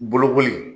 Bolokoli